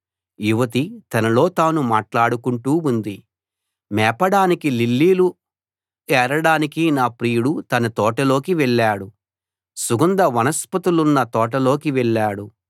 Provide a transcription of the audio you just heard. యువతి తనలో తాను మాట్లాడుకుంటూ ఉంది మేపడానికీ లిల్లీలు ఏరడానికీ నా ప్రియుడు తన తోటలోకి వెళ్ళాడు సుగంధ వనస్పతులున్న తోటలోకి వెళ్ళాడు